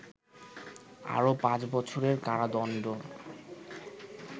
আরও পাঁচ বছরের কারাদণ্ড